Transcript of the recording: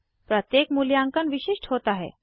प्रत्येक मूल्यांकन विशिष्ट होता है